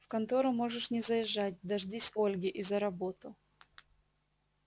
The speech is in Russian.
в контору можешь не заезжать дождись ольги и за работу